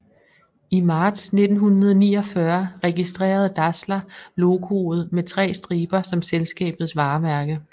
I marts 1949 registrerede Dassler logoet med tre striber som selskabets varemærke